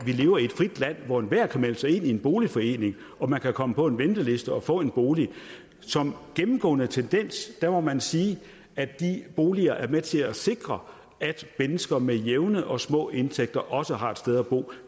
at vi lever i et frit land hvor enhver kan melde sig ind i en boligforening og man kan komme på venteliste og få en bolig som gennemgående tendens må man sige at de boliger er med til at sikre at mennesker med jævne og små indtægter også har et sted at bo